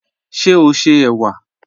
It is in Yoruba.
Ṣé o ṣé ewa?